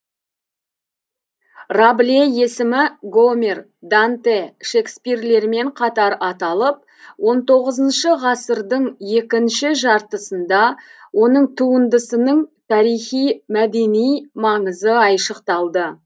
рабле есімі гомер данте шекспирлермен қатар аталып ғ дың екінші жартысында оның туындысының тарихи мәдени маңызы айшықталды